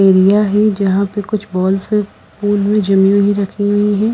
Area है जहां पे कुछ बॉल्स पून में जमी हुई रखे हुए हैं।